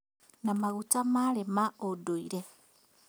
Na maguta marĩ ma ũndũire